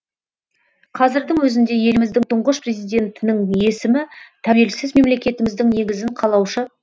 қазірдің өзінде еліміздің тұңғыш президентінің есімі тәуелсіз мемлекетіміздің негізін қалаушы